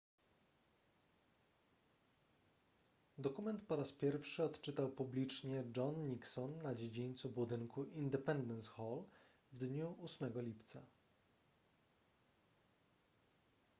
dokument po raz pierwszy odczytał publicznie john nixon na dziedzińcu budynku independence hall w dniu 8 lipca